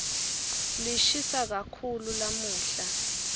lishisa kakhulu lamuhla